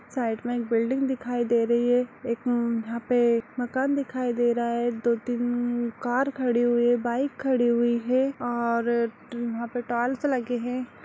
Side में एक building दिखाई दे रही है एक उम्म यहाँ पे एक मकान दिखाई दे रहा है दो-तीन उम्म कार खड़ी हुई है बाइक खड़ी हुई है और ट्र यहाँ पर टाइल्स लगे हैं।